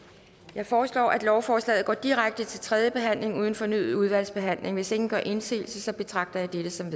jeg foreslår at lovforslaget går direkte til tredje behandling uden fornyet udvalgsbehandling hvis ingen gør indsigelse betragter jeg dette som